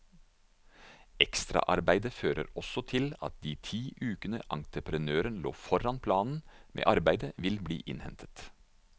Ekstraarbeidet fører også til at de ti ukene entrepenøren lå foran planen med arbeidet vil bli innhentet.